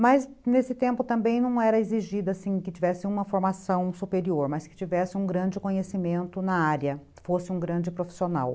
Mas nesse tempo também não era exigido assim que tivesse uma formação superior, mas que tivesse um grande conhecimento na área, fosse um grande profissional.